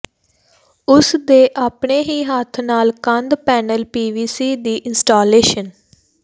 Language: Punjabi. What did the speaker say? ਉਸ ਦੇ ਆਪਣੇ ਹੀ ਹੱਥ ਨਾਲ ਕੰਧ ਪੈਨਲ ਪੀਵੀਸੀ ਦੀ ਇੰਸਟਾਲੇਸ਼ਨ